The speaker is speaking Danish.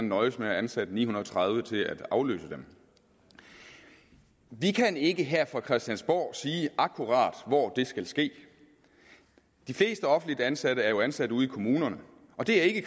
nøjes med at ansætte ni hundrede og tredive til at afløse dem vi kan ikke her fra christiansborg sige akkurat hvor det skal ske de fleste offentligt ansatte er jo ansat ude i kommunerne og det er ikke